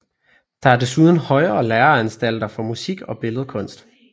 Der er desuden højere læreanstalter for musik og billedkunst